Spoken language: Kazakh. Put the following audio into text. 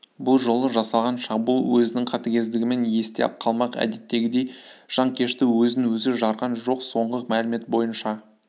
бұл жолы жасалған шабуыл өзінің қатыгездігімен есте қалмақ әдеттегідей жанкешті өзін-өзі жарған жоқ соңғы мәлімет бойынша